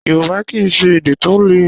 Yorùbá kìí ṣe èdè tó lè.